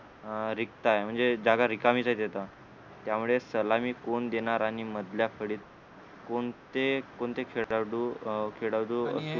हा रिक्त आहे म्हणजे जागा रिकामीच आहे तिथ त्यामुळे सलामी कोण देणार आणि मधल्या कडीत कोणते कोणते खेळाडू अं खेळाडू